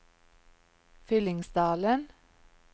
Fyllingsdalen